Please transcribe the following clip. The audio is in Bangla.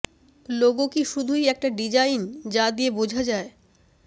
লোগো কি শুধুই একটা ডিজাইন যা দিয়ে বোঝা যায়